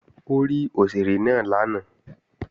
Ó rí òṣèré náà lánàá